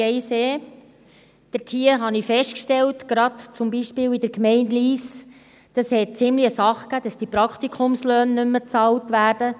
Zur Planungserklärung 1e: Ich habe zum Beispiel in der Gemeinde Lyss festgestellt, dass es einen ziemlichen Wirbel gab, weil die Praktikumslöhne nicht mehr bezahlt werden.